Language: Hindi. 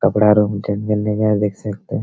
कपड़ा रूम के बिल्डिंग है देख सकते हैं।